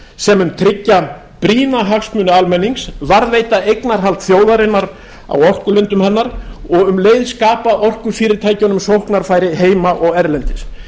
sem mun tryggja brýna hagsmuni almennings varðveita eignarhald þjóðarinnar á orkulindum hennar og um leið skapa orkufyrirtækjunum sóknarfæri heima og erlendis